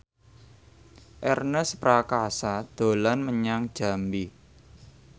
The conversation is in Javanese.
Ernest Prakasa dolan menyang Jambi